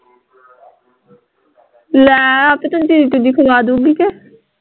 ਲੈ ਆਹ ਤੇ ਕੰਟੀਨ ਚੀਜ਼ੀ ਖਵਾਦੁਗੀ ਕਿ